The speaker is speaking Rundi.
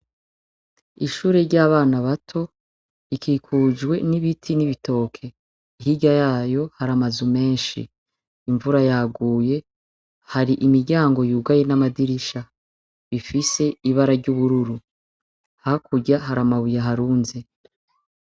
Ishure ry'abana bato rikikujwe n'ibiti n'ibitoke; hirya yayo har'amazu meshi. Imvura yaguye har'imiryango yugaye hamwe n'amadirisha bifise ibara ry'ubururu hakurya har'amabuye aharunze.